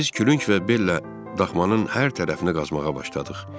Biz külünk və bellə daxmanın hər tərəfini qazmağa başladıq.